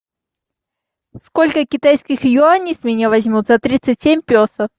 сколько китайских юаней с меня возьмут за тридцать семь песо